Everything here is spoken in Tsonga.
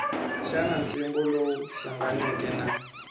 xana ntlimbo lowu hlanganeke na